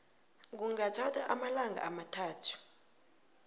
kungathatha amalanga amathathu